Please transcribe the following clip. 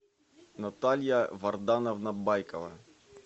наталья вардановна байкова